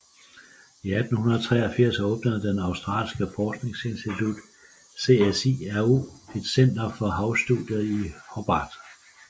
I 1983 åbnede den australske forskningsinstitution CSIRO et center for havstudier i Hobart